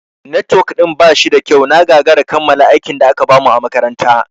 Netwok ɗin ba shida kyau, na gagara kammala aikin da aka bamu a makaranta.